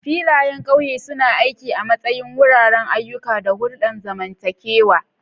Filayen ƙauye suna aiki a matsayin wuraren ayyuka da hulɗar zamantakewa.